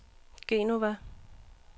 Genova